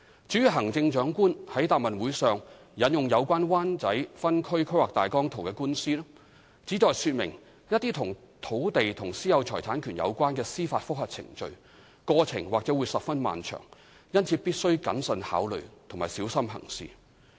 至於行政長官在該答問會上引用有關《灣仔分區計劃大綱圖》的官司，旨在說明一些與土地和私有財產權有關的司法覆核程序，過程或會十分漫長，因此必須謹慎考慮及小心行事。